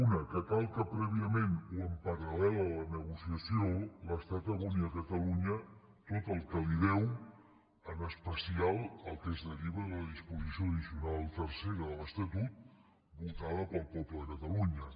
una que cal que prèviament o en paral·lel amb la negociació l’estat aboni a catalunya tot el que li deu en especial el que es deriva de la disposició addicional tercera de l’estatut votada pel poble de catalunya